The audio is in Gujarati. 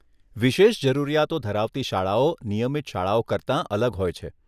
વિશેષ જરૂરિયાતો ધરાવતી શાળાઓ નિયમિત શાળાઓ કરતાં અલગ હોય છે.